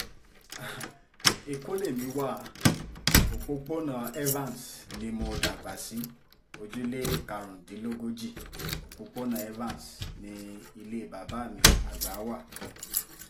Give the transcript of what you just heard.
ẹ̀kọ́ lèmi wa òpópónà evans ni mo dàgbà sí ojúlé karùndínlógójì òpópónà evans ní ilé bàbá àgbà wa wà